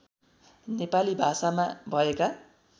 नेपाली भाषामा भएका